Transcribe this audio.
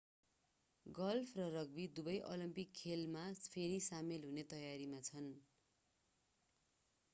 golf र rugby Dubai Olympic खेलमा फेरि सामेल हुने तयारीमा छन्